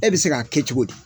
E bɛ se k'a kɛ cogo di?